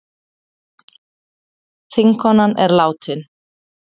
Þingkonan er látin